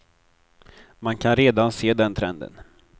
Man kan redan se den trenden.